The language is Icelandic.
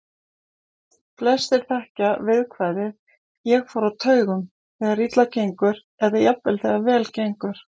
Flestir þekkja viðkvæðið ég fór á taugum, þegar illa gengur, eða jafnvel þegar vel gengur.